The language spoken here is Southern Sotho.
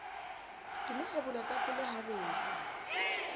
ke no ebola tapole habedi